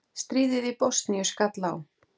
Stríðið í Bosníu skall á.